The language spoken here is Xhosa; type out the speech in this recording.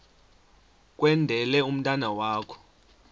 kwendele umntwana wakho